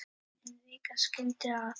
En vika skildi að.